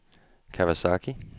Kawasaki